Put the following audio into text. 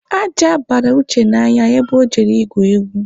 Aja bara Uche n'anya ebe ọ jere igwu egwu.